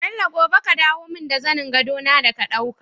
Bello gobe ka dawo mun da zanin gado na da ka ɗauka